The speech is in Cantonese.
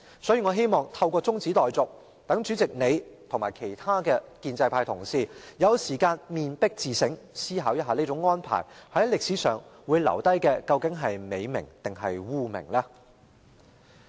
所以，我希望透過中止待續，讓主席及其他建制派同事有時間面壁自省，思考這種安排會令你們在歷史上留下美名還是污名。